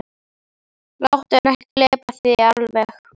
Láttu hann ekki gleypa þig alveg!